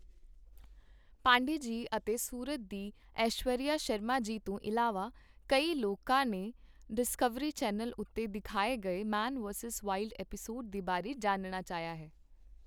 ਪਾਂਡਯੇ ਜੀ ਅਤੇ ਸੂਰਤ ਦੀ ਐਸ਼ਵਰਿਆ ਸ਼ਰਮਾ ਜੀ ਤੋਂ ਇਲਾਵਾ ਕਈ ਲੋਕਾਂ ਨੇ ਡਿਸਕਵਰੀ ਚੈੱਨਲ ਉੱਤੇ ਦਿਖਾਏ ਗਏ, ਮੈਨ ਵੇਰਸੂਸ ਵਾਇਲਡ ਐਪੀਸੋਡ ਦੇ ਬਾਰੇ ਜਾਣਨਾ ਚਾਹਿਆ ਹੈ।